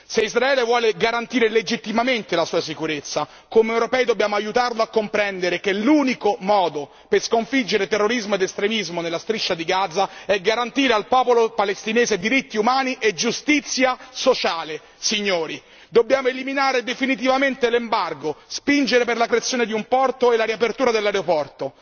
Se Israele vuole garantire legittimamente la sua sicurezza, come europei dobbiamo aiutarlo a comprendere che l'unico modo per sconfiggere terrorismo ed estremismo nella Striscia di Gaza è garantire al popolo palestinese diritti umani e giustizia sociale. Signori, dobbiamo eliminare definitivamente l'embargo, spingere per la creazione di un porto e la riapertura dell'aeroporto.